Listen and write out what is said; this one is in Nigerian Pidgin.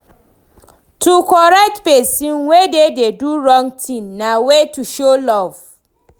To correct persin wey de do di wrong thing na way to show love